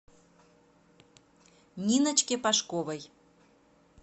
ниночке пашковой